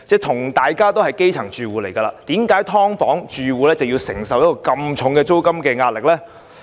同為基層住戶，為何"劏房戶"要承受如此沉重的租金壓力呢？